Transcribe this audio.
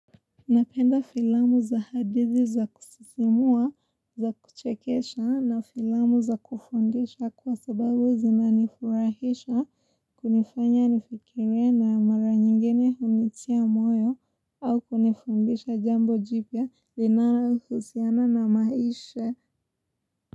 Napenda filamu za hadithi za kusisimua, za kuchekesha na filamu za kufundisha kwa sababu zinanifurahisha kunifanya nifikirie na mara nyingine hunitia moyo au kunifundisha jambo jipya linalohusiana na maisha.